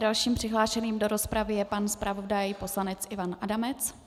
Dalším přihlášeným do rozpravy je pan zpravodaj, poslanec Ivan Adamec.